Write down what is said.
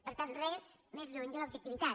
per tant res més lluny de l’objectivitat